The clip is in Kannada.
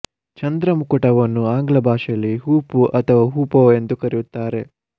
ಚಂದ್ರಮುಕುಟವನ್ನು ಆಂಗ್ಲ ಭಾಷೆಯಲ್ಲಿ ಹೂಪು ಅಥವಾ ಹೂಪೋ ಎಂದು ಕರೆಯುತ್ತಾರೆ